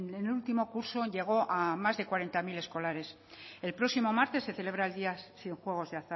en el último curso llegó a más de cuarenta mil escolares el próximo martes se celebra el día sin juegos de